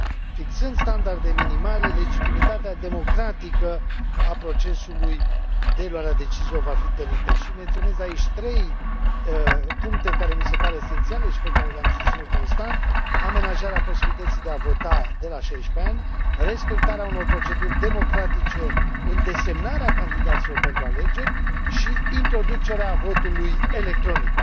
Fixând standarde minimale, legitimitatea democratică a procesului de luare a deciziilor va fi întărită și menționez aici trei puncte care mi se par esențiale și pe care le am susținut constant amenajarea posibilității de a vota de la 16 ani, respectarea unor proceduri democratice în desemnarea candidaților pentru alegeri și introducerea votului electronic.